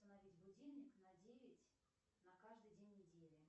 установить будильник на девять на каждый день недели